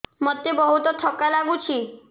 ମୋତେ ବହୁତ୍ ଥକା ଲାଗୁଛି